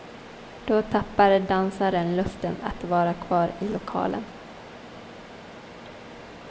Då tappar dansaren lusten att vara kvar i lokalen.